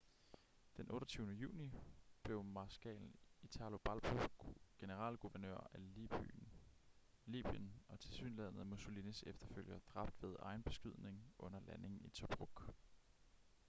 den 28. juni blev marskal italo balbo generalguvernør af libyen og tilsyneladende mussolinis efterfølger dræbt ved egenbeskydning under landing i tobruk